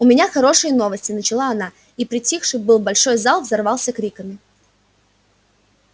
у меня хорошие новости начала она и притихший было большой зал взорвался криками